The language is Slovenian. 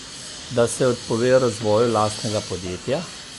Da se odpove razvoju lastnega podjetja?